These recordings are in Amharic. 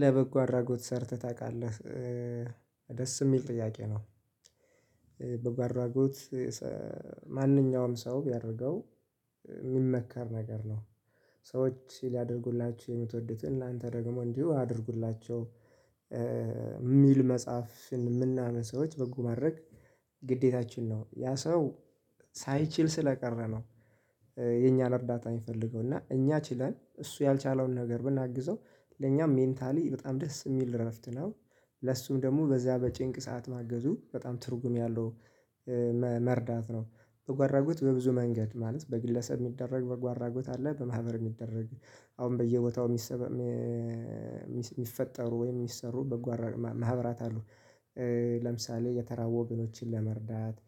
ለበጎ አድራጎት ሰርተህ ታቃለህ ደስ ሚል ጥያቄ ነው? ጉት ማንኛውም ሰው ቢያደርገው ሚመከር ነገር ነው። ሰዎች ሊያደርጉላችሁ የምትወዱትን እናንተ ደግሞ እንዲሁ አድርጉላቸው። ሚል መጽሐፍን ምናምን ሰዎች በጎ ማድረግ ግዴታችን ነው ያ ሰው ሳይችል ስለቀረ ነው። የኛን እርዳታ ሚፈልገው እና እኛ ችለን እሱ ያልቻለውን ነገር ብናግዘው ለኛም ሜንታሊ በጣም ደስ የሚል እረፍት ነው። ለሱም ደሞ በዚያ በጭንቅ ሰዓት ማገዙ በጣም ትርጉም ያለው መርዳት ነው። በጎአድራጎት በብዙ መንገድ ማለት በግለሰብ የሚደረግ በጎአድራጎት አለ በማህበር ሚደረግ አሁን በየቦታው ሚፈጠሩ ወይም ሚሰሩ ማህበራት አሉ። ለምሳሌ የተራቡ ወገኖችን ለመርዳት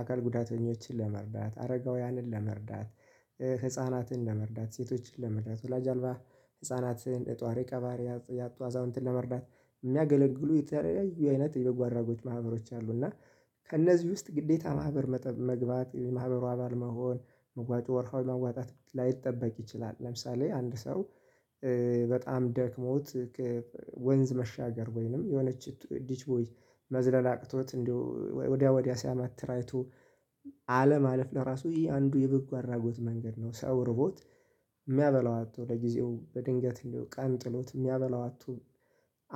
አካል ጉዳተኞችን ለመርዳት አረጋውያንን ለመርዳት ህፃናትን ለመርዳት ሴቶችን ለመርዳት ወላጅ አልባ ህፃናትን ጣሪ ቀባሪ ያጡ አዛውንትን ለመርዳት ሚያገለግሉ የተለያዩ አይነት የበጎ አድራጎች ማህበሮች አሉ። እና ከእነዚህ ውስጥ ግዴታ ማህበር መግባት የማህበሩ አባል መሆን መዋጮ ወርሃዊ ማዋጣት ላይጠበቅ ይችላል። ለምሳሌ አንድ ሰው በጣም ደክሞት ወንዝ መሻገር ወይንም የሆነች ዲች ቦይ መዝለል አቅቶት እንደው ወዲያ ወዲያ ሲያመትር አይቶ አለማለፍ ለራሱ ይሄ አንዱ የበጎ አድራጎት መንገድ ነው። ሰው ርቦት ሚያበላው አጥቶ ለጊዜው በድንገት እንዲያው ቀን ጥሎት ሚያበላው አጥቶ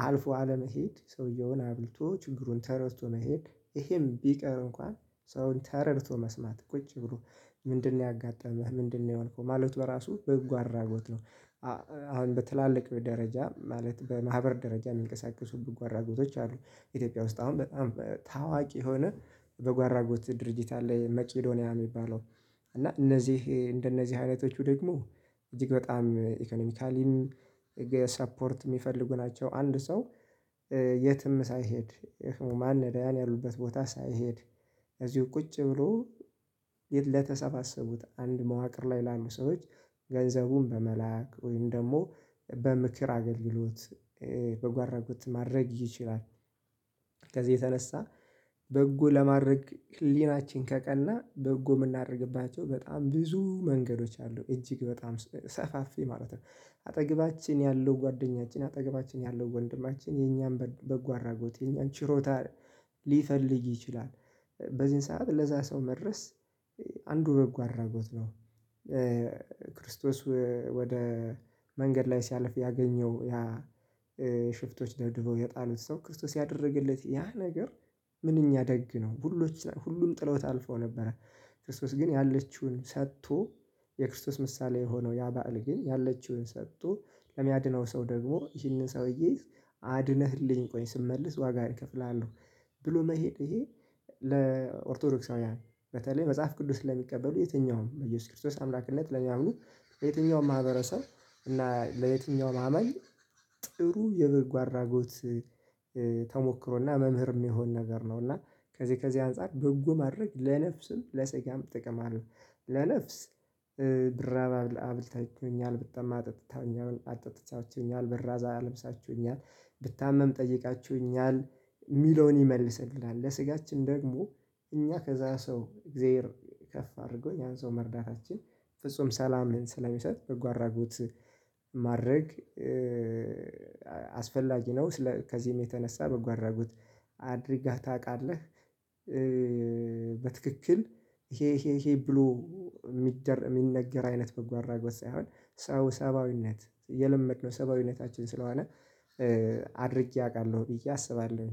አልፎ አለመሄድ ሰውየውን አብልቶ ችግሩን ተረድቶ መሄድ። ይሄም ቢቀር እንኳን ሰውን ተረድቶ መስማት ቁጭ ብሎ ምንድነው ያጋጠመህ ምንድነው የሆንከው ማለት በራሱ በጎ አድራጎት ነው። አሁን በትላልቅ ደረጃ ማለት በማህበር ደረጃ ሚንቀሳቀሱ በጎ አድራጎቶች አሉ። ኢትዮጵያ ውስጥ አሁን በጣም ታዋቂ የሆነ በጎ አድራጎት ድርጅት አለ። መቄዶንያ ሚባለው እና እነዚህ እንደነዚህ አይነቶቹ ደግሞ እጅግ በጣም ኢኮኖሚካሊም ሰፖርት ሚፈልጉ ናቸው። አንድ ሰው የትም ሳይሄድ ማን ያሉበት ቦታ ሳይሄድ እዚሁ ቁጭ ብሎ ለተሰባሰቡት አንድ መዋቅር ላይ ላሉ ሰዎች ገንዘቡን በመላክ ወይም ደግሞ በምክር አገልግሎት በጎ አድራጎት ማድረግ ይችላል። ከዚህ የተነሳ በጎ ለማድረግ ህሊናችን ከቀና በጎ ምናረግባቸው በጣም ብዙ መንገዶች አሉ እጅግ በጣም ሰፋፊ ማለት ነው። አጠገባችን ያለው ጓደኛችን አጠገባችን ያለው ወንድማችን የኛ በጎ አድራጎት የኛ ችሮታ ሊፈልግ ይችላል። በዚህን ሰዓት ለዛ ሰው መድረስ አንዱ በጎ አድራጎት ነው። ክርስቶስ ወደ መንገድ ላይ ሲያልፍ ያገኘው ያ ሽፍቶች ደብድበው የጣሉት ሰው ክርስቶስ ያደረገለት ያ ነገር ምንኛ ደግ ነው። ሁሉም ጥሎት አልፈው ነበረ። ክርስቶስ ግን ያለችውን ሰቶ የክርስቶስ ምሳሌ የሆነው ያ ባእል ግን ያለችውን ሰቶ ለሚያድነው ሰው ደግሞ ይህንን ሰውዬ አድነህልኝ ቆይ ስመለስ ዋጋ እከፍልሀለው። ብሎ መሄድ እሄ ለኦርቶዶክሳውያን በተለይ መጽሐፍ ቅዱስ ለሚቀበሉ የትኛውም በኢየሱስ ክርስቶስ አምላክነት ለሚያምኑ የትኛውም ማህበረሰብ እና ለየትኛውም አማኝ ጥሩ የበጎ አድራጎት ተሞክሮና መምህር ሚሆን ነገር ነው። እና ከዚህ ከዚህ አንፃር በጎ ማድረግ ለነፍስም ለስጋም ጥቅም አለው። ለነፍስ ብራብ አብልታችሁኛል ብጠማ አጠጥታ አጠጥታችሁኛል ብራዝ አልብሳችሁኛል ብታመም ጠይቃችሁኛል ሚለውን ይመልስልናል ለስጋችን ደግሞ እኛ ከዛ ሰው እግዜር ከፍ አድርጎ ያን ሰው መርዳታችን ፍጹም ሰላም ስለሚሰጥ በጎ አድራጎት። ማድረግ አስፈላጊ ነው። ከዚህም የተነሳ በጎ አድራጎት አድርጋህ ታቃለህ? በትክክል ይሄ ይሄ ይሄ ብሎ ሚነገር አይነት በጎ አድራጎት ሳይሆን ሰው ሰብአዊነት የለመድነው ሰብአዊነታችን ስለሆነ አድርጌ አቃለሁ ብዬ አስባለሁ